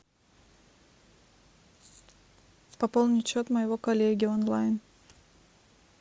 пополнить счет моего коллеги онлайн